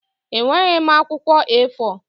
Enweghị m akwụkwọ A4.